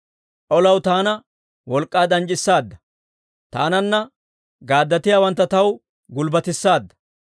Olaw taana wolk'k'aa danc'c'issaadda; taananna gaaddatiyaawantta taw gulbbatissaadda.